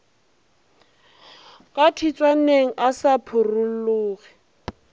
ka tshitswaneng a sa phurolloge